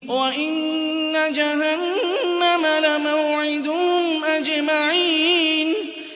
وَإِنَّ جَهَنَّمَ لَمَوْعِدُهُمْ أَجْمَعِينَ